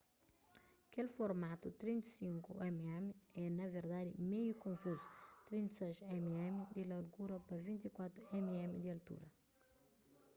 kel formatu 35mm é na verdadi meiu konfuzu 36mm di largura pa 24mm di altura